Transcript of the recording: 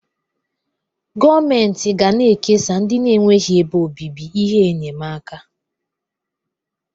gọọmentị ga na-ekesa ndị na-enweghị ebe obibi ihe enyemaka